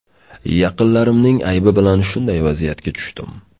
Yaqinlarimning aybi bilan shunday vaziyatga tushdim.